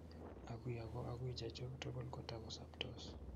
agui ago agui chechu tugul kotugosoptos